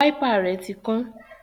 Wáípà rẹ̀ tí kán